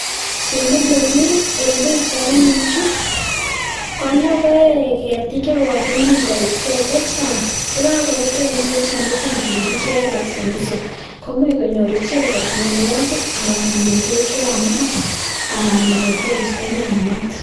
Che milei biik eng pichaini ko logoek ketik che kokomin korupkei chechang, kokakorupkei komnyee chechang kotom kituut icheket somisoi komuch konyor icheket mianwokik anan manyor beek cheyamat anan manyor icheket koristo neyamat.